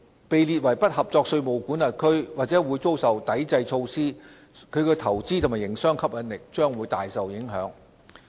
被列為"不合作稅務管轄區"或會遭受抵制措施，其投資和營商吸引力將會大受影響。